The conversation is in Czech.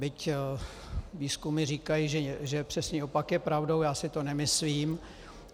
Byť výzkumy říkají, že přesný opak je pravdou, já si to nemyslím.